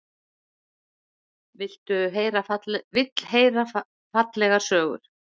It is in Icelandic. Vill heyra fallegar sögur.